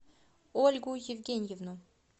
ольгу евгеньевну